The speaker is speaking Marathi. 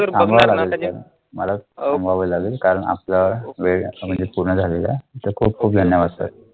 मला थांबावे लागेल कारण आपला वेळ आता म्हणजे पूर्ण झालेला तर खूप खूप धन्यवाद sir